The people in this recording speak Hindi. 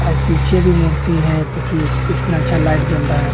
और पीछे भी मूर्ति है देखिए इतना अच्छा लाइट जल रहा है।